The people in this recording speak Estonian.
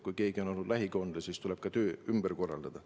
Kui keegi on olnud lähikontaktne, siis tuleb töö ümber korraldada.